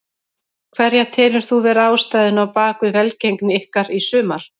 Hverja telur þú vera ástæðuna á bakvið velgengni ykkar í sumar?